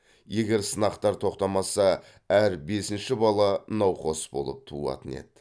егер сынақтар тоқтамаса әр бесінші бала науқас болып туатын еді